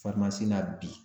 na bi